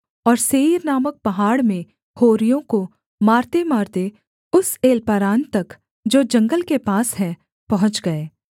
और सेईर नामक पहाड़ में होरियों को मारतेमारते उस एल्पारान तक जो जंगल के पास है पहुँच गए